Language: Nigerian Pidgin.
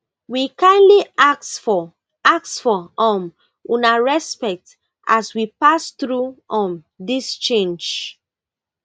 we kindly ask for ask for um una respect as we pass thru um dis change